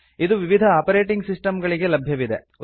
ಇದು ವಿವಿಧ operating system ಗಳಿಗೆ ಲಭ್ಯವಿದೆ